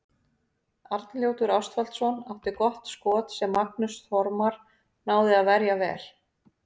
Arnljótur Ástvaldsson átti gott skot sem Magnús Þormar náði að verja vel.